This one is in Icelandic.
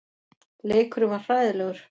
Leikurinn var hræðilegur.